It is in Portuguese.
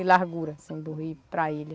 De largura, assim, do rio para a ilha.